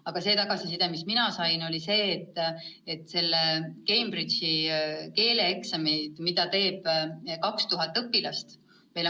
Aga see tagasiside, mis mina sain, oli see, et Cambridge'i keeleeksami nad teeksid ettenähtud kuupäeval.